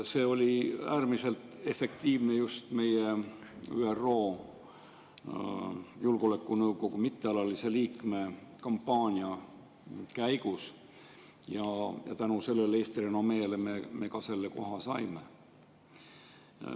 See oli äärmiselt efektiivne just meie ÜRO Julgeolekunõukogu mittealalise liikme kampaania käigus ja tänu sellele Eesti renomeele me ka selle koha saime.